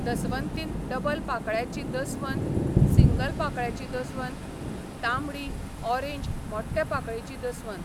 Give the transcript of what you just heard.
दसवंतीन double पाकळ्याची दसवन, single पाकळ्याची दसवन, तांबडी, ऑरेंज मोट्ठे पाकळेची दसवन.